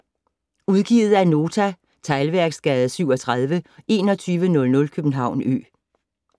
Udgivet af Nota Teglværksgade 37 2100 København Ø